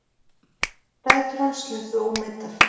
Dætur hans sluppu ómeiddar